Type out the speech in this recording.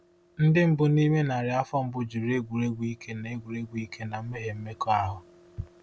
Ndị mbụ n’ime narị afọ mbụ jụrụ egwuregwu ike na egwuregwu ike na mmehie mmekọahụ.